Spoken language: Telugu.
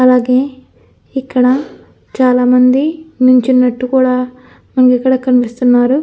అలాగే ఇక్కడ చాలామంది నుంచునట్టు కూడా మనకిక్కడ కనిపిస్తున్నారు.